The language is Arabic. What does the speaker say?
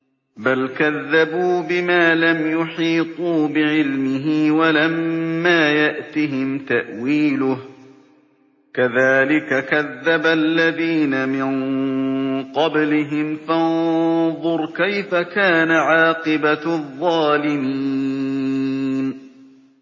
بَلْ كَذَّبُوا بِمَا لَمْ يُحِيطُوا بِعِلْمِهِ وَلَمَّا يَأْتِهِمْ تَأْوِيلُهُ ۚ كَذَٰلِكَ كَذَّبَ الَّذِينَ مِن قَبْلِهِمْ ۖ فَانظُرْ كَيْفَ كَانَ عَاقِبَةُ الظَّالِمِينَ